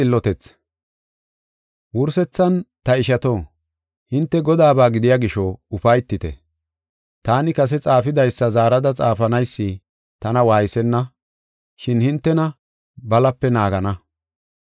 Wursethan, ta ishato, hinte Godaaba gidiya gisho, ufaytite. Taani kase xaafidaysa zaarada xaafanaysi tana waaysenna, shin hintena balape naagana.